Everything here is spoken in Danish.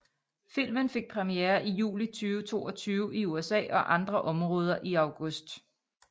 Filmen fik premiere i juli 2022 i USA og andre områder i august